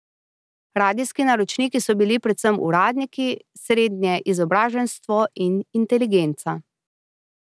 Radijski naročniki so bili predvsem uradniki, srednje izobraženstvo in inteligenca.